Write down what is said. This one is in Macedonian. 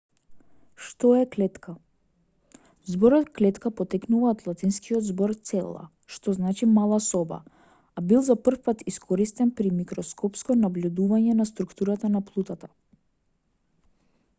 што е клетка зборот клетка потекнува од латинскиот збор cella што знали мала соба а бил за првпат искористен при микроскопско набљудување на структурата на плутата